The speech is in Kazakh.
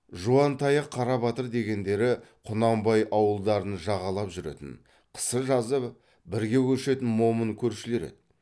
жуантаяқ қарабатыр дегендері құнанбай ауылдарын жағалап жүретін қысы жазы бірге көшетін момын көршілер еді